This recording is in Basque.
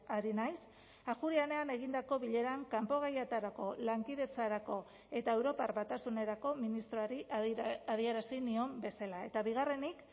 ari naiz ajuria enean egindako bileran kanpo gaietarako lankidetzarako eta europar batasunerako ministroari adierazi nion bezala eta bigarrenik